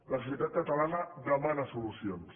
la societat catalana demana solucions